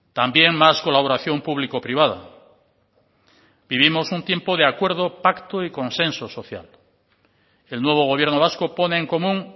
también más colaboración público privada vivimos un tiempo de acuerdo pacto y consenso social el nuevo gobierno vasco pone en común